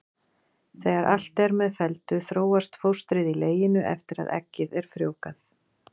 Þegar allt er með felldu þróast fóstrið í leginu eftir að eggið er frjóvgað.